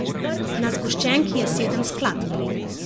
Na zgoščenki je sedem skladb.